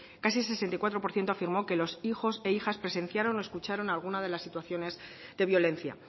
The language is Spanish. casi el sesenta y cuatro por ciento afirmó que los hijos e hijas presenciaron o escucharon algunas de las situaciones de violencia